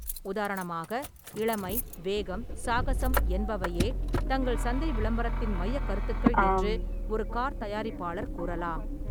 உதாரணமாக, “இளமை, வேகம், சாகசம்” என்பவையே தங்கள் சந்தை விளம்பரத்தின் மையக் கருத்துக்கள் என்று ஒரு கார் தயாரிப்பாளர் கூறலாம்.